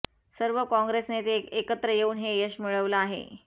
सर्व काँग्रेस नेते एकत्र येऊन हे यश मिळवलं आहे